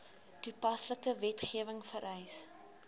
toepaslike wetgewing vereis